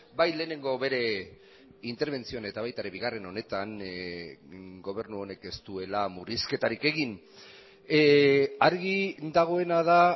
bai lehenengo bere interbentzioan eta baita ere bigarren honetan gobernu honek ez duela murrizketarik egin argi dagoena da